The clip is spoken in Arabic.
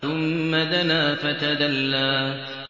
ثُمَّ دَنَا فَتَدَلَّىٰ